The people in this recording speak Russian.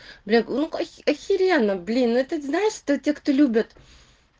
бля ну ка охеренно блин это знаешь это те кто любят